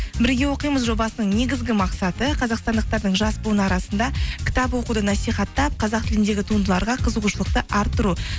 бірге оқимыз жобасының негізгі мақсаты қазақстандықтардың жас буын арасында кітап оқуды насихаттап қазақ тіліндегі туындыларға қызығушылықты арттыру